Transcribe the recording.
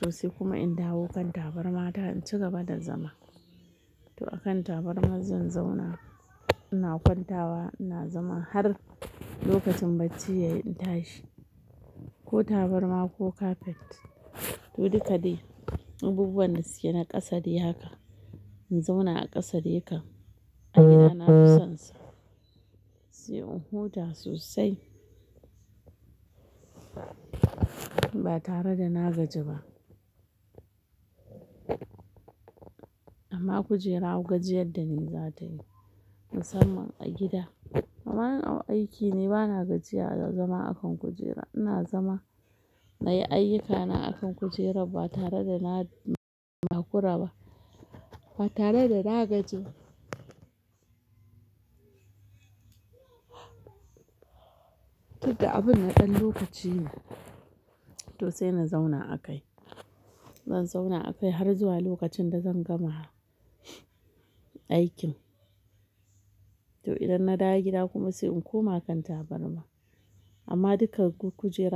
to sai kuma in dawo kan tabarmata in cigaba da zama. To akan tabarma zan zauna, ina kwantawa ina zama har lokacin bacci yayi in tashi. Ko tabarma ko kafet to duka dai abubuwan da suke na ƙasa dai haka. In zauna a ƙasa dai kam a gida na fi sonsa. Sai in huta sosai ba tare da na gaji ba. Amma kujera gajir da ni musamman a gida. Amma in a aiki ne bana gajiya da zama akan kujera. Ina zama na yi ayyukana akan kujerar ba tare da na, takura ba ba tare da na gaji ba. Tun da abun na ɗan lokaci ne to sai na zauna akai. Zan zauna akai har zuwa lokacin da zan gama aikin. To idan na dawo gida kuma sai in koma kan tabarma. Amma duka kujera.